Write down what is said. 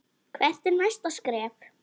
Hvert er næsta skref?